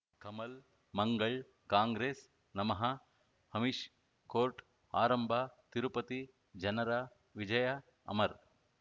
Kamal Mangal Congress ನಮಃ Amish court ಆರಂಭ ತಿರುಪತಿ ಜನರ ವಿಜಯ ಅಮರ್